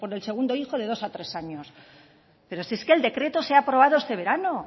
del segundo hijo de dos a tres años pero si es que el decreto se ha aprobado este verano